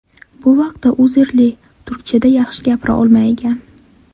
Bu vaqtda Uzerli turkchada yaxshi gapira olmaygan.